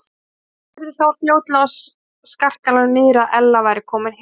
Thomas heyrði þó fljótlega á skarkalanum niðri að Ella væri komin heim.